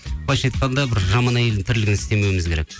былайынша айтқанда бір жаман әйелдің тірлігін істемеуіміз керек